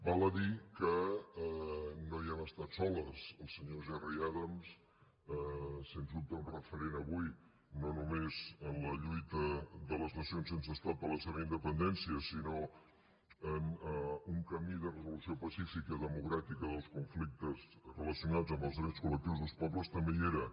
val a dir que no hi hem estat soles el senyor gerry adams sens dubte un referent avui no només en la lluita de les nacions sense estat per la seva independència sinó en un camí de resolució pacífica democràtica dels conflictes relacionats amb les drets col·lectius dels pobles també hi era